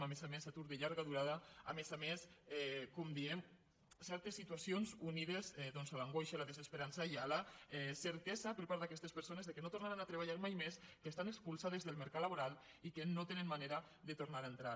a més a més atur de llarga durada a més a més com diem certes situacions unides doncs a l’angoixa a la desesperança i la certesa per part d’aquestes persones que no tornaran a treballar mai més que estan expulsades del mercat laboral i que no tenen manera de tornar hi a entrar